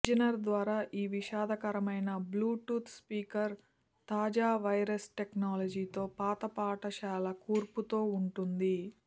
అర్జెనర్ ద్వారా ఈ విషాదకరమైన బ్లూటూత్ స్పీకర్ తాజా వైర్లెస్ టెక్నాలజీతో పాత పాఠశాల కూర్పుతో ఉంటుంది